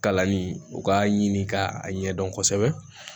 Kalanni u k'a ɲini k'a ɲɛdɔn kosɛbɛ